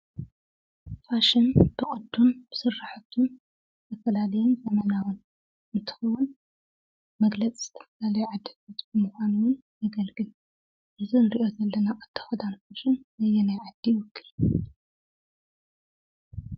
ፋሽን ብቅዱን ብስራሕቱን ብዝተፈላለየ ቆመናውን እንትኸውን መግለፂ መለለይ ዓዲ ምኳኑን ውን የገልግል። እዚ ንርእዮ ዘለና ቅዲ ክዳን ፋሽን ንየናይ ዓዲ ይውክል?